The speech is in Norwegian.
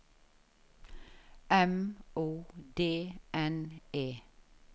M O D N E